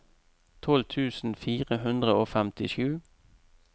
tolv tusen fire hundre og femtisju